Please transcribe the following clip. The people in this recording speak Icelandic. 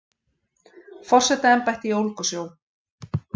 Forsetaembætti í Ólgusjó